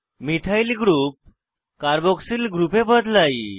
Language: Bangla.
মিথাইল গ্রুপ কার্বক্সিল গ্রুপে বদলাই